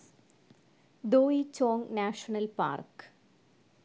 ദോയി ചോങ് national park